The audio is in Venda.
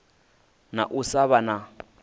na u sa vha na